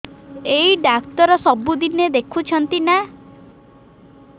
ଏଇ ଡ଼ାକ୍ତର ସବୁଦିନେ ଦେଖୁଛନ୍ତି ନା